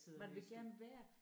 Man vil gerne være